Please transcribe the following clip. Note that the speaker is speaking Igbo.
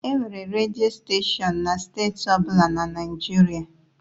Enwere redio steshọn na steeti ọ bụla na Naịjirịa.